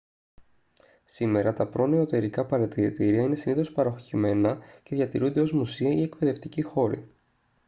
σήμερα τα προνεωτερικά παρατηρητήρια είναι συνήθως παρωχημένα και διατηρούνται ως μουσεία ή εκπαιδευτικοί χώροι